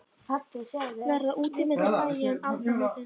Verða úti milli bæja um aldamótin?